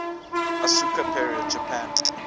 asuka period japan